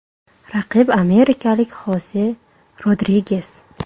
Raqib amerikalik Xose Rodriges.